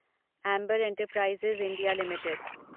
Amber enterprises India limited